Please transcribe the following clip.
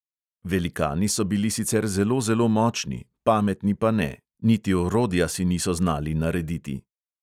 Velikani so bili sicer zelo zelo močni, pametni pa ne, niti orodja si niso znali narediti.